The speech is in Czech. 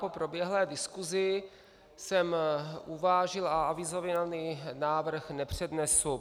Po proběhlé diskusi jsem uvážil a avizovaný návrh nepřednesu.